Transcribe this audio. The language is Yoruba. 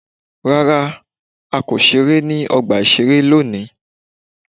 Rárá, a kò ṣeré ní ọgbà ìṣeré lónìí.